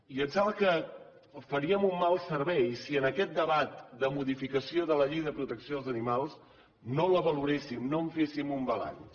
i em sembla que faríem un mal servei si en aquest debat de modificació de la llei de protecció dels animals no la valoréssim no en féssim un balanç